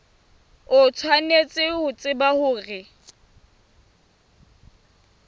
o tshwanetse ho tseba hore